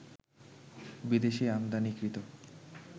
বিদেশি আমদানিকৃত